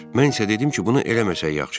Mən isə dedim ki, bunu eləməsək yaxşıdır.